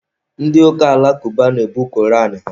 Ndị ụka alakụba na-ebu koran ha